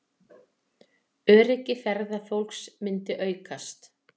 Öryggi ferðafólks myndi aukast